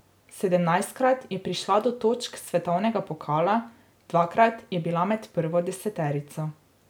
Sedemnajstkrat je prišla do točk svetovnega pokala, dvakrat je bila med prvo deseterico.